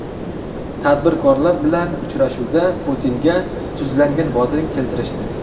Tadbirkorlar bilan uchrashuvda Putinga tuzlangan bodring keltirishdi.